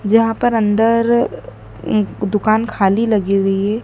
जहां पर अंदर उं दुकान खाली लगी हुई है।